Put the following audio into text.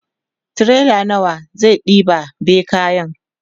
tirela nawa zai ɗeba be kayan?